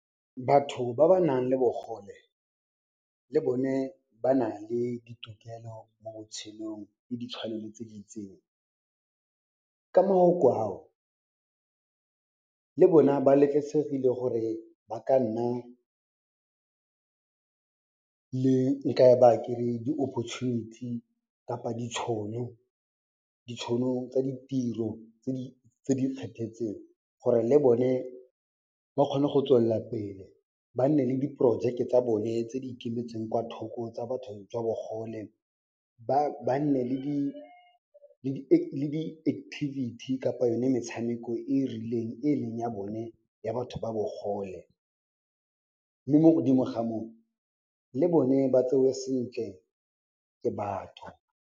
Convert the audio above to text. Batho ba ba nang le bogole, le bone ba nale ditokelo mo botshelong le ditshwanelo tse di itseng. Ka mafoko ao, le bona ba letlesegile gore ba ka nna le nka e baya kere di-opportunity kapa ditšhono tsa ditiro tse di kgethetseng gore le bone ba kgone go tswellapele, ba nne le diporojeke tsa bone tse di ikemetseng kwa thoko tsa batho jwa bogole. Ba nne le di-activity kapa yone metshameko e e rileng e leng ya bone ya batho ba bogole. Mme mo godimo ga moo, le bone ba tsewe sentle ke batho.